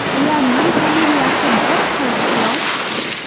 Ularning familiyasi bir xil, xolos.